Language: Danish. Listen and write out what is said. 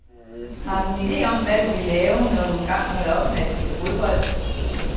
Har du en ide om, hvad du vil lave, når du engang holder op med at spille fodbold?